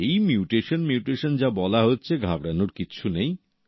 এই mutation mutation যা বলা হচ্ছে ঘাবড়ানোর কিছু নেই